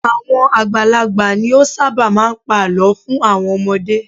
Àwọn àgbàlagbà ni ó ṣábà máà ń pa àlọ́ fún àwọn ọmọdé.